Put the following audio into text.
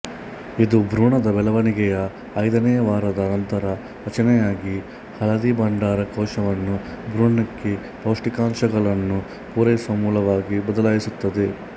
ಇದು ಭ್ರೂಣದ ಬೆಳವಣಿಗೆಯ ಐದನೇ ವಾರದ ನಂತರ ರಚನೆಯಾಗಿ ಹಳದಿಬಂಡಾರ ಕೋಶವನ್ನು ಭ್ರೂಣಕ್ಕೆ ಪೌಷ್ಟಿಕಾಂಶಗಳನ್ನು ಪೂರೈಸುವ ಮೂಲವಾಗಿ ಬದಲಾಯಿಸುತ್ತದೆ